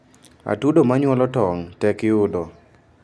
Atudo manyuolo tong tek yudo